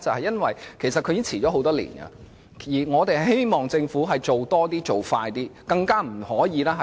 因為強制性標籤計劃已經停滯多年，我希望政府多做工夫，加快步伐。